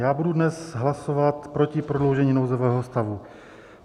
Já budu dnes hlasovat proti prodloužení nouzového stavu.